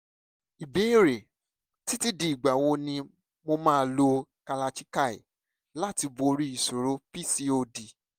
ìbéèrè: títí di ìgbà wo ni mo máa lo kalachikai láti borí ìṣòro pcod?